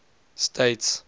states